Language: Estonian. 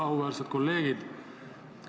Auväärsed kolleegid!